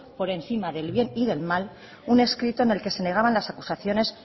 por encima del bien y del mal un escrito en el que se negaban las acusaciones